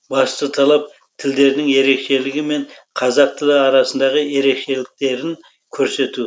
басты талап тілдің ерекшелігі мен қазақ тілі арасындағы ерекшеліктерін көрсету